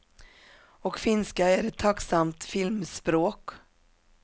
Och finska är ett tacksamt filmspråk.